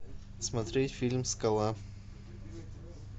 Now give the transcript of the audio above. смотреть фильм скала